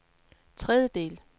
tredjedel